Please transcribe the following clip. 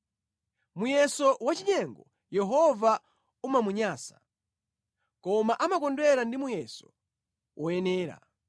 Muyeso wachinyengo Yehova umamunyansa, koma amakondwera ndi muyeso woyenera.